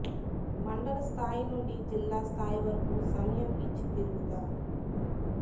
మండల స్థాయి నుండి జిల్లా స్థాయి వరకు సమయం ఇచ్చి తిరుగుతా